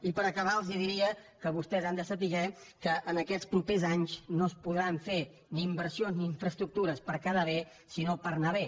i per acabar els diria que vostès han de saber que en aquests propers anys no es podran fer ni inversions ni infraestructures per quedar bé sinó per anar bé